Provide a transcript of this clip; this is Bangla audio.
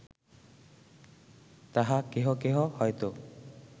তাহা কেহ কেহ হয়ত